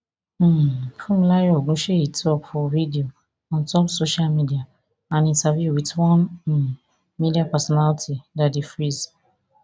um funmilayo ogunseyi tok for video ontop social media and interview with one um media personality daddy freeze